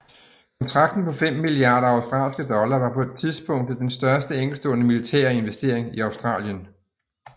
Kontrakten på fem milliarder australske dollar var på tidspunktet den største enkeltstående militære investering i Australien